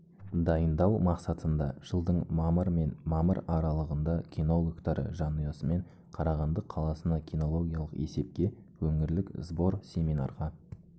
дайындау мақсатында жылдың мамыр мен мамыр аралығында кинологтары жанұясымен қарағанды қаласына кинологиялық есепке өңірлік сбор-семинарға